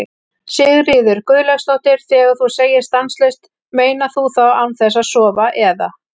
Sigríður Guðlaugsdóttir: Þegar þú segir stanslaust, meinar þú þá án þess að sofa eða?